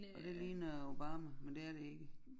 Og det ligner Obama men det er det ikke